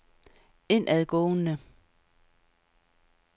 indadgående